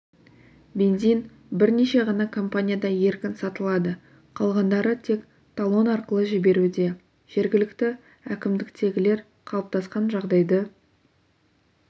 бензин бірнеше ғана компанияда еркін сатылады қалғандары тек талон арқылы жіберуде жергілікті әкімдіктегілер қалыптасқан жағдайды